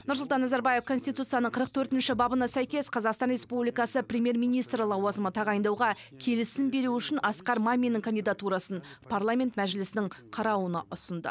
нұрсұлтан назарбаев конституцияның қырық төртінші бабына сәйкес қазақстан республикасы премьер министрі лауазымына тағайындауға келісім беру үшін асқар маминнің кандидатурасын парламент мәжілісінің қарауына ұсынды